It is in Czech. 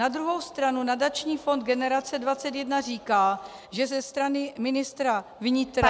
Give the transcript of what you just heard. Na druhou stranu nadační fond Generace 21 říká, že ze strany ministra vnitra -